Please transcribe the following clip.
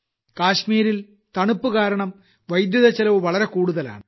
കാശ്മീരിൽ തണുപ്പു കാരണം വൈദ്യുതിച്ചെലവ് വളരെ കൂടുതലാണ്